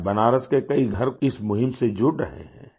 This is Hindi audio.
आज बनारस के कई घर इस मुहिम से जुड़ रहे हैं